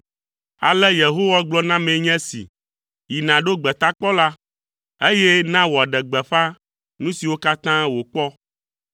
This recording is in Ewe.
Ale Yehowa gblɔ nam nye esi, “Yi nàɖo gbetakpɔla, eye na wòaɖe gbeƒã nu siwo katã wòkpɔ.